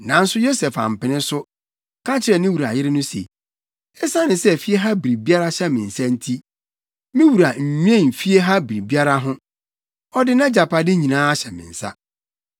Nanso Yosef ampene so, ka kyerɛɛ ne wura yere no se, “Esiane sɛ fie ha biribiara hyɛ me nsa nti, me wura nnwen fie ha biribiara ho. Ɔde nʼagyapade nyinaa ahyɛ me nsa.